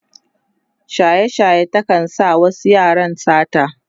shaye shaye ta kan sa wasu yaran sata